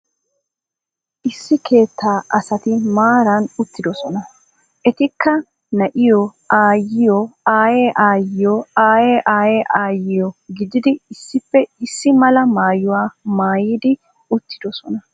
Issi keettaa asati maaran uttidoosona. Etikka na'iyo, aayyiyo, aaye aayyiyo, aaye aaye aayyiyo gididi issippe issi mala maayuwa maayidi uttidoosona.